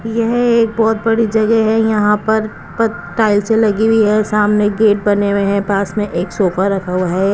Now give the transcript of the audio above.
यह एक बहुत बड़ी जगह है यहां पर टाइल से लगी हुई है सामने गेट बने हुए हैं पास में एक सोफा रखा हुआ है।